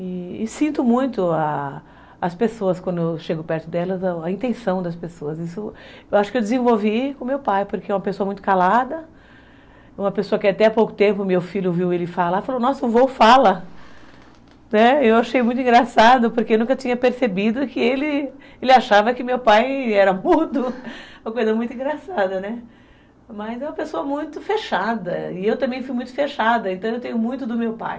E, e sinto muito a, as pessoas quando eu chego perto delas. A intenção das pessoas, isso eu acho que eu desenvolvi com meu pai, porque é uma pessoa muito calada. Uma pessoa que até há pouco tempo meu filho ouviu ele falar e falou, nossa o vô fala, né, eu achei muito engraçado porque eu nunca tinha percebido que ele achava que meu pai era mudo. Uma coisa muito engraçada, mas é uma pessoa muito fechada e eu também fui muito fechada, então eu tenho muito do meu pai.